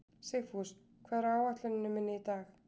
Sigfús, hvað er á áætluninni minni í dag?